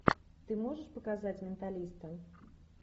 ты можешь показать менталиста